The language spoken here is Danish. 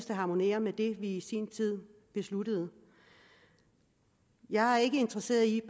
det harmonerer med det vi i sin tid besluttede jeg er ikke interesseret i at